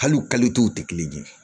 Hali u tɛ kelen ye